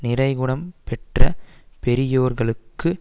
நிறை குணம் பெற்ற பெரியோர்களுக்கு